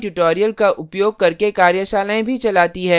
spoken tutorials का उपयोग करके कार्यशालाएँ भी चलाती है